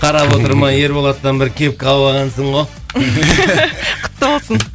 қарап отырмай ерболаттан бір кепка алып алғансың ғой құтты болсын